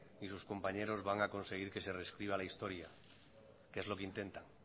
ni sus compañeros van a conseguir que se rescriba la historia que es lo que intenta